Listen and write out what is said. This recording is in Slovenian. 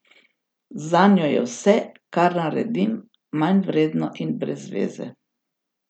Zanjo je vse, kar naredim, manjvredno in brezzveze.